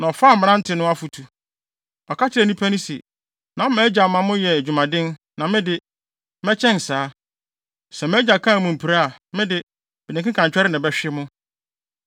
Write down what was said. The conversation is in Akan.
na ɔfaa mmerante no afotu. Ɔka kyerɛɛ nnipa no se, “Na mʼagya ma moyɛ adwumaden, na me de, mɛkyɛn saa! Sɛ mʼagya kaa mo mpire a, me de, mede nkekantwɛre na ɛbɛhwe mo!”